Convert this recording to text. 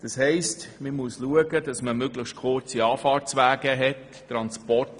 Das heisst, dass man auf möglichst kurze Anfahrtswege achten muss.